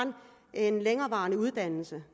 en længevarende uddannelse